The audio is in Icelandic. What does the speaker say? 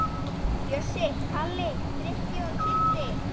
Bjössi, Kalli, Frikki og Kiddi!